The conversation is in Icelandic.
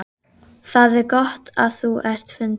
Það er gott að þú ert fundinn.